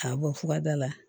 K'a bɔ furada la